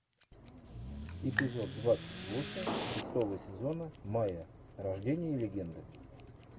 эпизод двадцать восемь шестого сезона майя рождение легенды